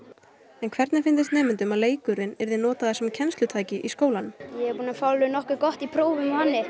en hvernig fyndist nemendunum að leikurinn yrði notaður sem kennslutæki í skólanum ég er búin að fá alveg nokkuð gott í prófum